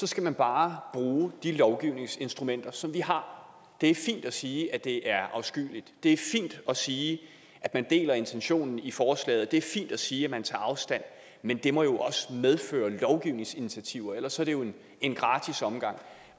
skal man bare bruge de lovgivningsinstrumenter som vi har det er fint at sige det er afskyeligt det er fint at sige at man deler intentionen i forslaget og det er fint at sige at man tager afstand men det må jo også medføre lovgivningsinitiativer ellers er det jo en gratis omgang